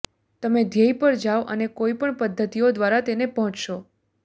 તમે ધ્યેય પર જાઓ અને કોઈપણ પદ્ધતિઓ દ્વારા તેને પહોંચશો